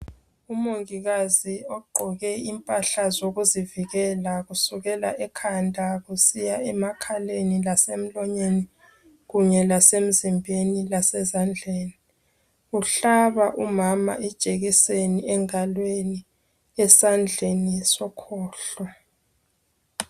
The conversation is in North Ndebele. Umongikazi ogqoke impahla zokuzivikela kusukela ngekhanda kusiya emakhaleni lasemlonyeni kunye lasemzimbeni lasezandleni. Uhlaba umama ijekiseni engalweni esandleni sokhohlo.